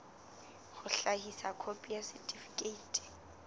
ho hlahisa khopi ya setifikeiti